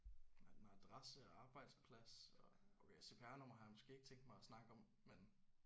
Nej nej adresse og arbejdsplads og okay CPR-nummer har jeg måske ikke tænkt mig at snakke om men